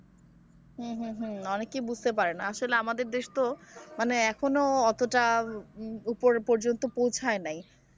হম হম হম অনেকেই বুঝতে পারে না আসলে আমাদের দেশ তো মানে এখনো অতটা উপরে পর্যন্ত পৌঁছায় নাই।